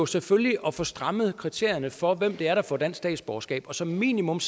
selvfølgelig at få strammet kriterierne for hvem der der får dansk statsborgerskab og som minimum